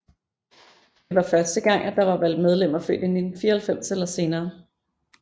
Det var første gang at der var valgt medlemmer født i 1994 eller senere